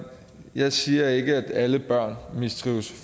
jeg siger ikke at alle børn mistrives